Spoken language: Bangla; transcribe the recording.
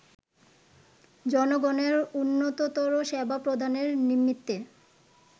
জনগণের উন্নততর সেবা প্রদানের নিমিত্তে